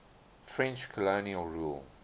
french colonial rule